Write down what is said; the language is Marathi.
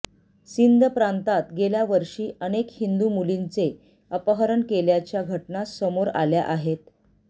सिंध प्रातांत गेल्या वर्षी अनेक हिंदू मुलींचे अपहरण केल्याच्या घटना समोर आल्या आहेत